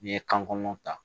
N'i ye kan kɔnɔn ta